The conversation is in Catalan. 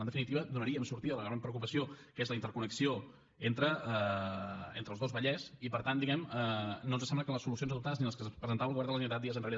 en definitiva donaríem sortida a la gran preocupació que és la interconnexió entre els dos vallès i per tant diguem ne no ens sembla que les solucions adoptades ni les que ens presentava el govern de la generalitat dies enrere